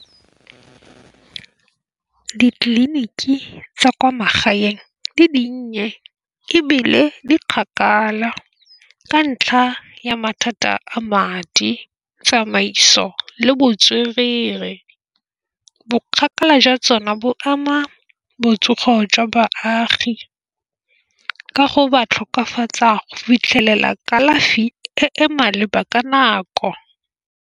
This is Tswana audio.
Ditleliniki tsa kwa magaeng di dinnye ebile di kgakala ka ntlha ya mathata a madi, tsamaiso le botswerere. Bo kgakala jwa tsone bo ama botsogo jwa baagi ka go ba tlhokafatsa go fitlhelela kalafi e e maleba ka nako.